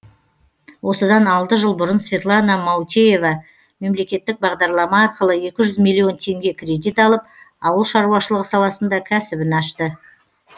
осыдан алты жыл бұрын светлана маутеева мемлекеттік бағдарлама арқылы екі жүз миллион теңге кредит алып ауыл шаруашылығы саласында кәсібін ашты